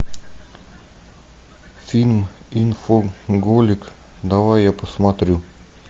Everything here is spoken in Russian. фильм инфоголик давай я посмотрю